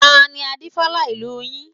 Tani Adífálà ìlú yín?